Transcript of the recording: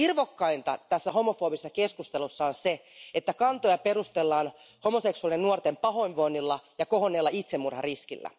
Irvokkainta tässä homofoobisessa keskustelussa on se, että kantoja perustellaan homoseksuaalien nuorten pahoinvoinnilla ja kohonneella itsemurhariskillä.